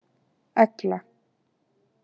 Egla